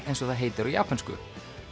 eins og það heitir á japönsku